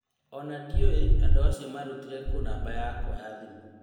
Ona ndiũ andũ acio marutire kũ namba yakwa ya thimũ.